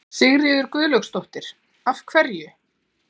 Sigríður Guðlaugsdóttir: Af hverju?